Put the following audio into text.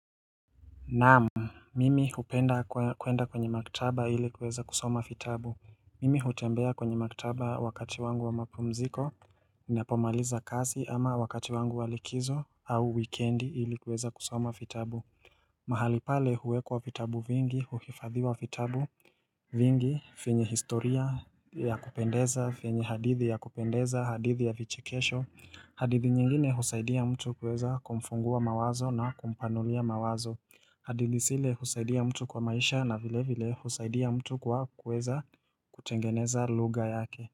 Naam, mimi hupenda kuenda kwenye maktaba ili kuweza kusoma vitabu. Mimi hutembea kwenye maktaba wakati wangu wa mapumziko ninapomaliza kazi ama wakati wangu wa likizo au wikendi ili kuweza kusoma vitabu mahali pale huwekwa vitabu vingi huhifadhiwa vitabu vingi, venye historia ya kupendeza, venye hadithi ya kupendeza, hadithi ya vichekesho hadithi nyingine husaidia mtu kuweza kumfungua mawazo na kumpanulia mawazo hadithi zile husaidia mtu kwa maisha na vile vile husaidia mtu kwa kuweza kutengeneza lugha yake.